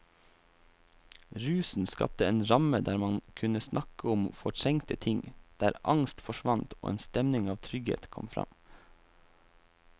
Rusen skapte en ramme der man kunne snakke om fortrengte ting, der angst forsvant og en stemning av trygghet kom fram.